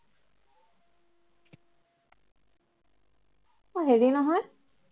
অ হেৰি নহয়